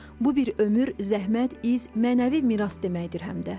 Bu bir ömür, zəhmət, iz, mənəvi miras deməkdir həm də.